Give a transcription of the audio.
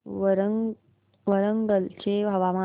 वरंगल चे हवामान